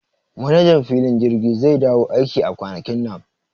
Manajan filin jirgi zai dawo aiki a kwanakin nan